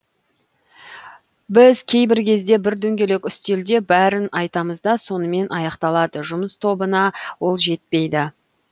біз кейбір кезде бір дөңгелек үстелде бәрін айтамыз да сонымен аяқталады жұмыс тобына ол жетпейді